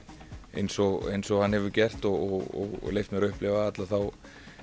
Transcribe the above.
eins og eins og hann hefur gert og leyft mér að upplifa alla þá